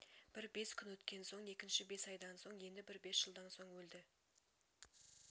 бір бес күн өткен соң екіншісі бес айдан соң енді бір бес жылдан соң өлді